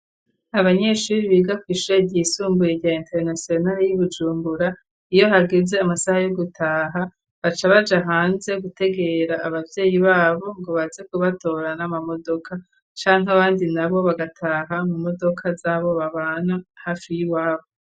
Abanyeshuri biga kwishure Tyigisumbuye Rya international ryi Bujumbura, iyo hageze amasaha yo gutaha baca baja hanze gutegera abavyeyi babo ngo baze kubatora N’amamodoka canke abandi nabo bagataha mu modoka z'abo babana hafi y'iwabo.